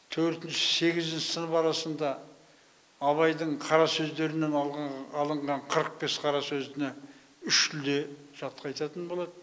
төртінші сегізінші сынып арасында абайдың қарасөздерінен алған алынған қырық бес қара сөзіне үш тілде жатқа айтатын болады